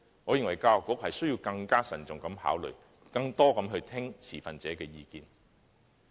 我認為教育局需要更慎重考慮，以及多聽持份者的意見。